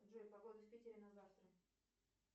джой погода в питере на завтра